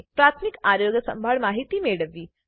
પ્રાથમિક આરોગ્ય સંભાળ માહિતી મેળવવી